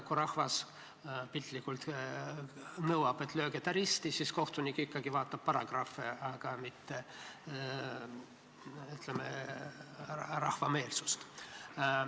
Kui rahvas piltlikult öeldes nõuab, et lööge ta risti, siis kohtunik ikkagi vaatab paragrahve, aga mitte, ütleme, rahva meelsust.